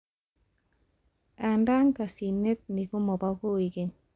Andaa kasinet ni komabo kokeny